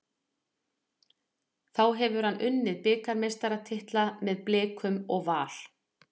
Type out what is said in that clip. Þá hefur hann unnið bikarmeistaratitla með Blikum og Val.